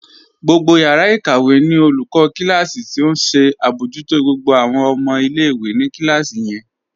Gbogbo yàrà ikàwẹ̀ ní olùkọ̀ kílásí̀ tí ó nṣẹ abọ̀jútó gbogbo awọn ọmọ ilẹ̀-ìwé ní kílásí yẹn.